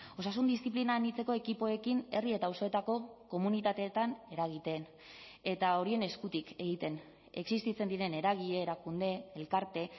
osasun diziplina anitzeko ekipoekin herri eta auzoetako komunitateetan eragiten eta horien eskutik egiten existitzen diren eragile erakunde elkarte